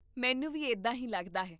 ਮੈਨੂੰ ਵੀ ਇੱਦਾਂ ਹੀ ਲੱਗਦਾ ਹੈ